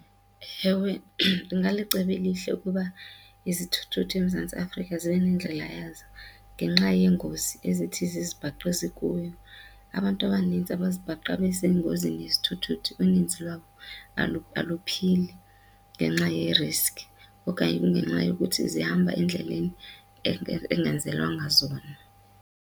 Ewe, ingalicebo elihle ukuba izithuthuthu eMzantsi Afrika zibe nendlela yazo ngenxa yeengozi ezithi zizibhaqe zikuyo. Abantu abanintsi abazibhaqa besengozini yezithuthuthu uninzi lwabo aluphili ngenxa ye-risk okanye kungenxa yokuthi zihamba endleleni engenzelwanga zona.